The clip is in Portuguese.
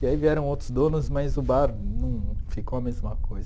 E aí vieram outros donos, mas o bar não ficou a mesma coisa.